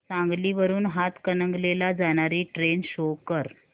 सांगली वरून हातकणंगले ला जाणारी ट्रेन शो कर